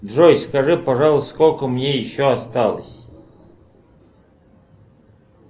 джой скажи пожалуйста сколько мне еще осталось